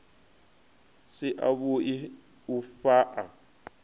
si a vhui u fhaa